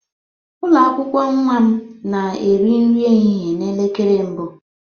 Ụlọ akwụkwọ nwa m na-eri nri ehihie na elekere mbụ